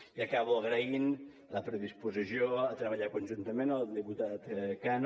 i acabo agraint la predisposició a treballar conjuntament al diputat cano